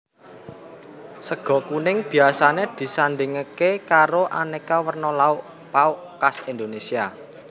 Sega kuning biasané disandhingké karo aneka werna lauk pauk khas Indonesia